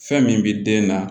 Fɛn min bɛ den na